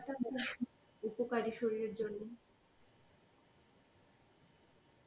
উপকারী শরীরের জন্যে